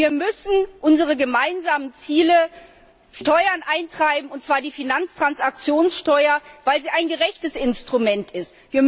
Wir müssen unsere gemeinsamen Ziele durchsetzen Steuern eintreiben, und zwar die Finanztransaktionssteuer, weil sie ein gerechtes Instrument ist.